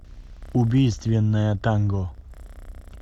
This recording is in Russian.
убийственное танго